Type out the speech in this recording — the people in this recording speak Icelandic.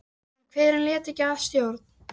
Hvernig viltu þá að við högum háttunum?